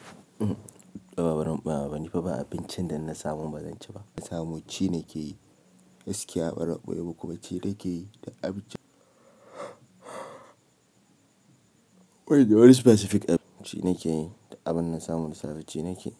Yawwa bazan ɓoyema ba nifa ba abincin da in na samu bazan ci ba na samu ci nake yi, gaskiya baran ɓoye muku ba ci nake yi da abincin. Banda wani specific abinci, ci nake yi duk abin da na samu da safe ci nake yi.